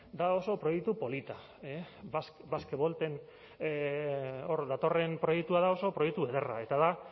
da oso proiektu polita basquevolt hor datorren proiektua da oso proiektu ederra eta da